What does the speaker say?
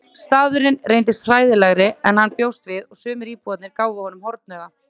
Staðurinn reyndist hræðilegri en hann bjóst við og sumir íbúarnir gáfu honum hornauga.